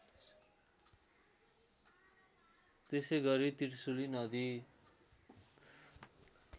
त्यसैगरी त्रिशुली नदी